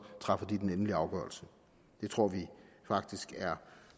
træffer den endelige afgørelse det tror vi faktisk er